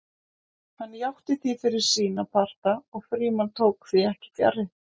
Hann játti því fyrir sína parta og Frímann tók því ekki fjarri.